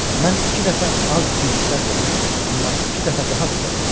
Mən iki dəfə az güc sərf edirəm, amma iki dəfə daha sürətli uçuram.